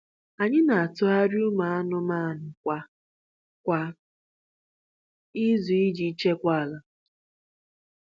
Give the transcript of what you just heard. Anyị na-atụgharị ụmụ anụmanụ kwa kwa izu iji chekwaa ala.